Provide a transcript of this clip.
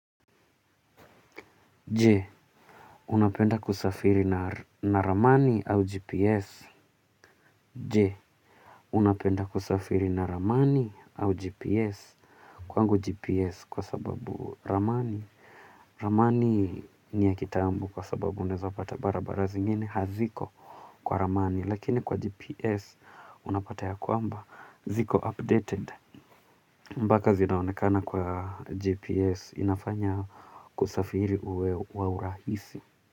Je, unapenda kusafiri na ramani au GPS. Je, unapenda kusafiri na ramani au GPS. Kwangu GPS kwa sababu ramani ramani ni ya kitambo kwa sababu unaeza pata barabara zingine haziko kwa ramani lakini kwa GPS unapata ya kwamba ziko updated mbaka zinaonekana kwa GPS. Inafanya kusafiri uwe wa urahisi.